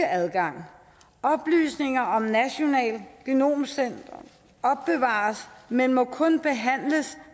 adgang oplysninger i det nationale genomcenter opbevares men må kun behandles